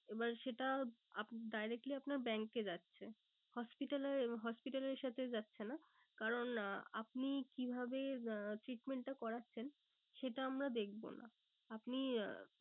এবার সেটা directly আপনার bank এ যাচ্ছে। hodpital এ hospital এর সাথে যাচ্ছে না কারণ আপনি কিভাবে উম treatment টা করেছেন সেটা আমরা দেখবো না। আপনি আহ